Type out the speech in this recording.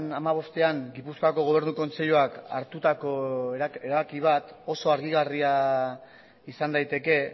hamabostean gipuzkoako gobernu kontseiluak hartutako erabaki bat oso harrigarria izan daiteke